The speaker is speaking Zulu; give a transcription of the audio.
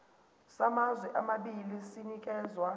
samazwe amabili sinikezwa